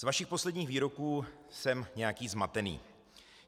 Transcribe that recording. Z vašich posledních výroků jsem nějaký zmatený.